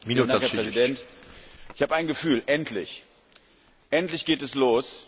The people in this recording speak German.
Herr Präsident! Ich habe ein Gefühl Endlich, endlich geht es los!